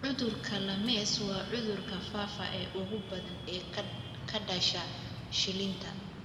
Cudurka Lymes waa cudurka faafa ee ugu badan ee ka dhasha shilinta.